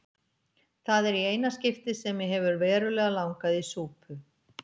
Það er í eina skiptið sem mig hefur verulega langað í súpu.